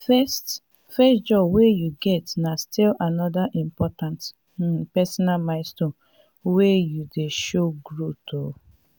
de first first job wey you get na still anoda important um personal milestone wey dey show growth. um